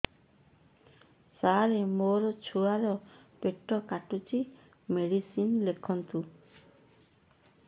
ସାର ମୋର ଛୁଆ ର ପେଟ କାଟୁଚି ମେଡିସିନ ଲେଖନ୍ତୁ